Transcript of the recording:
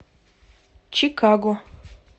чикаго